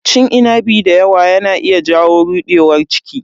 Cin inabi dayawa yana iya jawo rudewar ciki.